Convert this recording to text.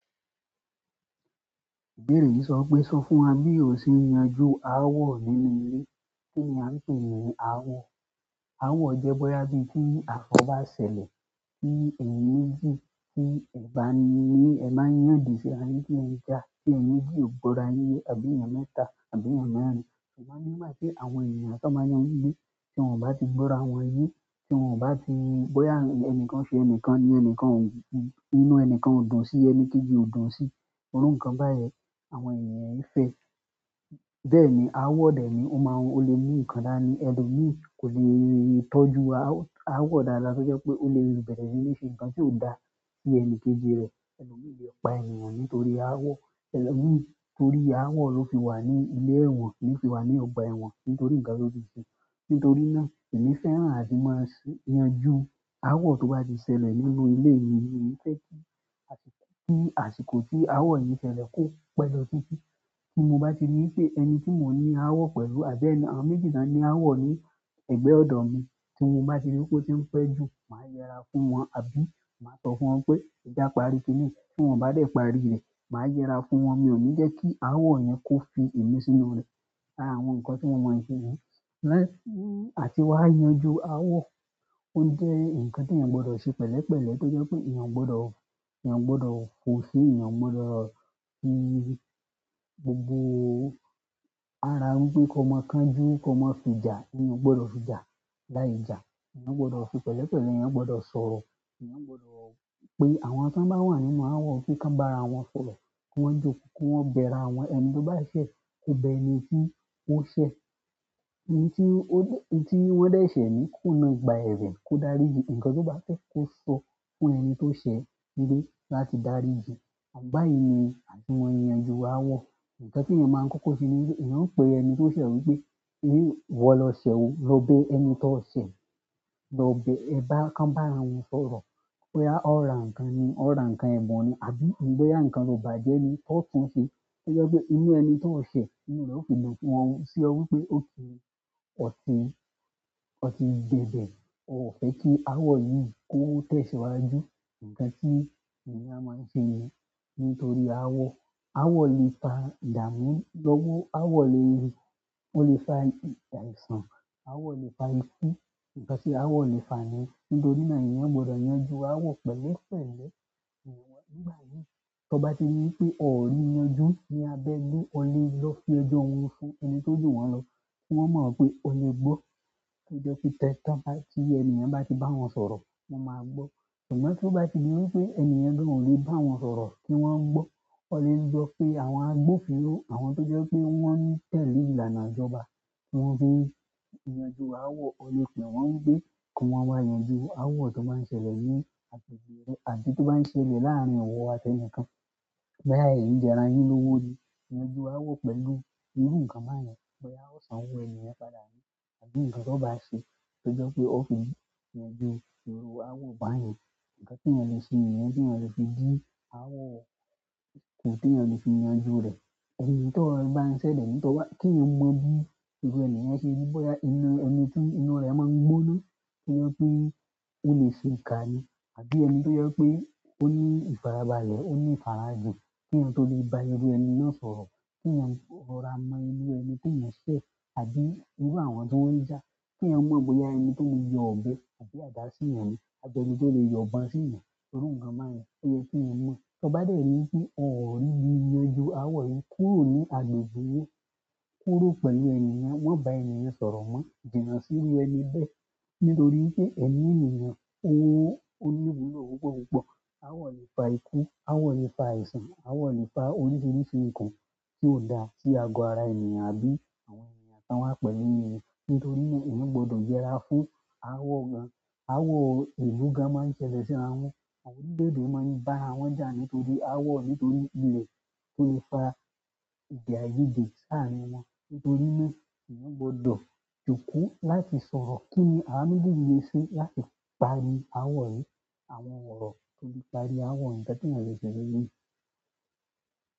Ìbéèrè yìí sọ pé sọ fún wa bí o ṣe ń yanjú ááwọ̀ nínú ilé. Kí ni a ń pè ní ááwọ̀? Ááwọ̀ jẹ́ bóyá bí tí àfọ́ bá ṣẹlẹ̀, bí èyin méjì, tí ẹ̀ bá ni ní, ẹ máa yàn odì sí ara ní tí ẹ jà, tí èyin méjì ò gbọ́ra yíyé àbí èèyàn mẹ́ta, àbí èèyàn mẹ́rin. Ṣùgbọ́n nígbà tí àwọn ènìyàn tán máa yan níbí, tí wọ́n ò bá ti gbọ́ra wọn yé, tí wọ́n ò bá ti, bóyá ẹnìkan ṣe ẹnìkan ni ẹnìkan, inú ẹnìkan ò dùn sí ẹni kejì ò dùn sí, irú nǹkan báyìí àwọn ènìyàn èé fẹ́. Bẹ́ẹ̀ni ááwọ̀ dè é ni, ó máa ń, ó lè mú ìkan dáani, ẹnu mi kò lè tọ́jú ááwọ̀ dáadáa tójẹ́ pé ó lè rí bẹ̀rẹ̀ sí ní ṣe nǹkan tí ó dà sí ẹni kejì rẹ̀. Ẹlọ̀míì lè pa ènìyàn nítorí ááwọ̀. Ẹlòmíràn torí ááwọ̀ ló fi wà ní ilé ẹ̀wọ̀n, ló fi wà ní ọgbà ẹ̀wọ̀n nítorí ǹkan tó ti ṣe. Nítorí náà, èmi fẹ́ràn àti máa ń yanjú ááwọ̀ tó bá ti ṣẹlẹ̀ nínú ilé mi. Èmi fẹ́ kí àsìkò tí ááwọ̀ yí ṣẹlẹ̀ kó pẹ́ lọ títí. Tí mo bá ti rí pé ẹni tí mò ń ní ááwọ̀ pẹ̀lú àbí àwọn méjì náà ní ááwọ̀ ní ẹ̀gbẹ́ ọ̀dọ̀ mi, tí mo bá ti rí pé ó ti ń pẹ́ jù, màá yẹra fún wọn àbí màá tọ́ fún wọn pé "Jẹ́ kí a parí i kiní yìí." Tí wọ́n bá dẹ̀ parí rẹ̀, màá yẹra fún wọn. Mi ò ní jẹ́ kí ááwọ̀ yẹn kó fi èmi sínú rẹ̀. Ara àwọn nǹkan tí mo mọ̀ se nìyẹn. Àti wá yanjú ááwọ̀, ó jẹ́ nǹkan tí ènìyàn gbọdọ̀ ṣe pẹ̀lẹ́pẹ̀lẹ́ tó jẹ́ pé ènìyàn gbọdọ̀, ènìyàn gbọdọ̀ fò sí, ènìyàn gbọdọ̀ fi gbogbo ara wípé kó máa kan jú, kó máa fi jà. Èèyàn ò gbọdọ̀ fi jà láì jà. Ẹ̀níyàn gbọdọ̀ fi pẹ̀lẹ́pẹ̀lẹ́, èèyàn gbọdọ̀ sọ̀rọ̀. Ẹ̀níyàn gbọdọ̀ pé àwọn tí wọ́n bá wà nínú ááwọ̀ kí wọ́n bá ara wọn sọ̀rọ̀, kí wọ́n jókòó, kí wọ́n bẹ ara wọn. Ẹni tí ó bá ṣẹ̀, kó bẹ ẹni tí ó ṣẹ̀. Ẹni tí ó, ẹni tí wọ́n dẹ̀ ṣẹ̀ ni kó na ìgbà ẹ̀bẹ̀ kó dárí jì. Ǹkan tí ó bá fẹ́ kó sọ fún ẹni tí ó ṣẹ̀ nílé láti dárí jìí. Báyìí ni àti mó n yanjú ááwọ̀. Ǹkan tí ènìyàn máa ń kọ́kọ́ ṣe ni wípé, èèyàn ó pè ẹni tí ó ṣẹ̀ wípé "Ìwọ lọ ṣẹ̀ o, lọ bẹ ẹni tí ó ṣẹ̀, lọ bẹ ẹ." Bóyá kan bá ara wọn sọ̀rọ̀, bóyá ó ra ǹkan ni, ó ra ǹkan ẹ̀bùn ni àbí bóyá ǹkan to bàjẹ́ ni, ó tún ṣe. Tó jé pé inú ẹni tí ó ṣẹ̀, inú rẹ̀ ó fi le wọ́n sí ọ wípé ó ti, ó ti, ó ti gbẹ̀ bẹ̀. Ó ò fẹ́ kí ááwọ̀ yìí kó tẹ̀síwájú. Ǹkan tí ènìyàn máa ń ṣe nìyẹn nítorí ááwọ̀. Ááwọ̀ lè fa ìdàmú. Lọ́wọ́ ááwọ̀ lè, ó lè fa àìsàn. Ááwọ̀ lè fa ikú. Ǹkan tí ááwọ̀ lè fa ni. Nítorí náà ènìyàn gbọdọ̀ yanjú ááwọ̀ pẹ̀lẹ́pẹ̀lẹ́. Ǹbí wọ́n, nígbà yìí tí wọ́n bá ti rí i pé óò ri yanjú ní abẹ́lé, ó lè lọ fi ọjọ́ wọn fún ẹni tó ju wọn lọ kí wọ́n mọ̀ pé ó lè gbọ́. Kí ó jẹ́ kí tẹ́ tán ti, ènìyàn bá ti bá wọn sọ̀rọ̀, wọ́n máa gbọ́. Àmọ̀ tó bá ti di wípé enìyẹn gan ó le báwọn sọ̀rọ̀ kí wón gbọ́, o le lọ pe àwọn agbófinró àwọn tó jẹ́ pé wọn tẹ̀lé ìlànà ìjọba ti fi yanjú áàwọ̀. O lè pè wón wípé kí wón wá yanjú áàwọ̀ tí ó bá n ṣẹlẹ̀ ní agbègbè rè àbí tí o bá ṣẹlẹ̀ láàrin ìwọ àti ẹnìkan. Bóyá ẹ̀yin jẹrà yín lówó ni. Yanju ááwọ̀ pẹ̀lú irú ǹkan báyẹn. Bóyá ó san owó ènìyàn padà ni àbí ǹkan tó bá ṣe tó jẹ́ pé ó fi yanjú irú ááwọ̀ báyẹn. Ǹkan tí ènìyàn lè ṣe nìyẹn, tí ènìyàn lè fi dí ááwọ̀ kù tí ènìyàn lè fi yanjú rẹ̀. Èyí tán bá n ṣẹlẹ̀, èyí tó bá, kí èèyàn mọ bí, bo lèèyàn se rí bóyá ẹni tí inú rẹ̀ máa gbóná, tó jẹ́ pé o lè sèkà ni. Àbí ẹni tí ó jẹ́ pé ó ní ìfarabalẹ̀, ó ní ìfarajìn kí ènìyàn tó lè bá irú ẹni náà sọ̀rọ̀. Kí ẹnìyàn rọra mọ irú ẹni tí ó ń ṣẹ̀ àbí inú àwọn tí wọ́n ń jà. Kí èèyàn mọ̀ bóyá ẹni tó lè yọ òbe àbí àdá sí ènìyàn ni àbí ẹni tó lè yọ ìbọn sí ènìyàn. Irú ǹkan báyẹn, ó yẹ kí ẹnì mọ̀. Tí wọ́n bá dẹ̀ ri pé óò níbi yanjú ááwọ̀ yìí kúrò ní agbègbè yìí, kúrò pẹ̀lú ènìyàn, wọ́n bá ènìyàn sọ̀rọ̀ mọ́, jìnà sí inú ẹni bẹ́ẹ̀. Nítorí pé ẹ̀mí ènìyàn o ní ìwúlò púpọ̀ púpọ̀. Ááwọ̀ lè fa ikú, ááwọ̀ lè fa àìsàn, ááwọ̀ lè fa oríṣiríṣi nǹkan tí ó dà sí ago ara ènìyàn àbí àwọn ènìyàn tán wá pẹ̀lú ènìyàn. Nítorí náà, ènìyàn gbọdọ̀ jẹrà fún ááwọ̀ gan-an. Ááwọ̀ ìlú gan-an máa ń ṣẹlẹ̀ síra wọn. Àwọn orílẹ̀-èdè máa ń bá ara wọn jà nítorí ááwọ̀ nítorí ilẹ̀ tó lè fa èdè àiyedè láàrin wọn. Nítorí náà, ènìyàn gbọdọ̀ jòkó láti sọ̀rọ̀. Kí ni àwa méjèèjì lè ṣe láti parí ááwọ̀ yìí? Àwọn òrò tí o le parí ááwọ̀ yìí, nkan tí èèyàn le se lórí è.